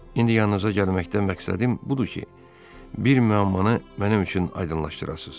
İndi yanınıza gəlməkdən məqsədim budur ki, bir müəammanı mənim üçün aydınlaşdırasınız.